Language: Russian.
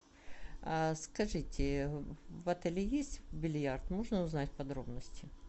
скажите в отеле есть бильярд можно узнать подробности